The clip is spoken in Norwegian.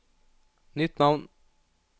nytt navn